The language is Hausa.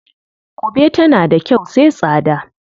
Ƙube tana da kyau sai tsada.